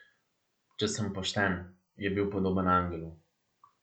Če sem pošten, je bil podoben angelu.